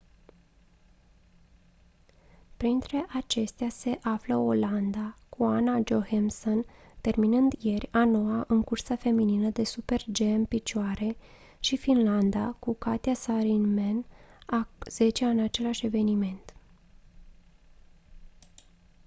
printre acestea se află olanda cu anna jochemsen terminând ieri a noua în cursa feminină de super-g în picioare și finlanda cu katja saarinen a zecea în același eveniment